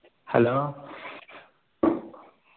hello